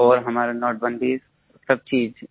था और हमारा नोटबंदी सब चीज़